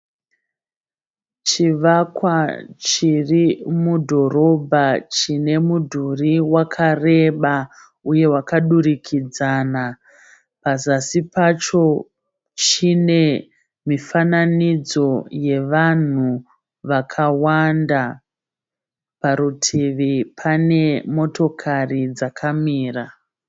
Chivakwa chiri mudhorobha chine mudhuri wakareba, uye wakadurikidzana. Pazasi pacho chine mifananidzo yevanhu vakawanda. Parutivi pane motokari dzakamira.